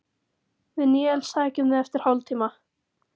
Við Níels sækjum þig eftir hálftíma.